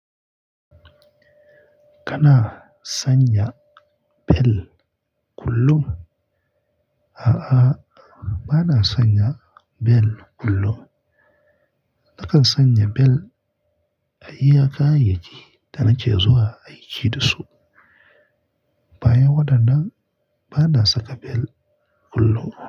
Kana sanya bel kullum? A'a, ba na sanya bel kullum. Nakan sanya bel a iya kayayyaki da nake zuwa aiki da su. Bayan waɗannan, ba na saka bel kullum.